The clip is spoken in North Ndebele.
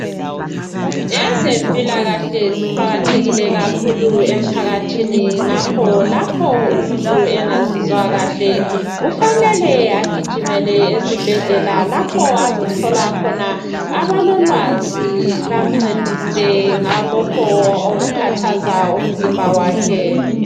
Ezempilakahle ziqakathekile kakhulu emphakathini ngakho lapho umuntu engazizwa kahle ufanele agijimele esibhedlela lapho azothola khona abololwazi bazamnceda ngalokho okukhathaza umzimba wakhe.